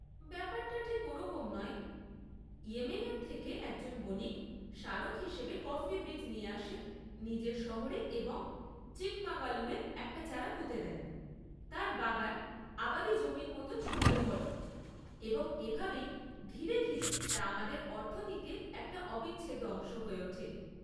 ব্যাপারটা ঠিক ওরকম নয়। ইয়েমেন থেকে একজন বণিক স্মারক হিসেবে কফির বীজ নিয়ে আসেন নিজের শহরে এবং চিকমাগালুরে একটা চারা পুঁতে দেন, তাঁর বাগান আবাদী জমির মতো ছড়িয়ে পড়ে, এবং এভাবেই ধীরে ধীরে তা আমাদের অর্থনীতির একটা অবিচ্ছেদ্য অংশ হয়ে ওঠে।